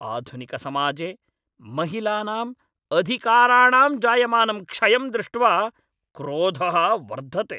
आधुनिकसमाजे महिलानाम् अधिकाराणां जायमानं क्षयं द्रष्ट्वा क्रोधः वर्धते ।